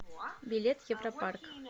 билет европарк